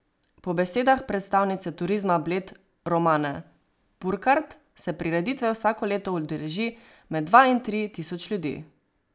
Po besedah predstavnice Turizma Bled Romane Purkart se prireditve vsako leto udeleži med dva in tri tisoč ljudi.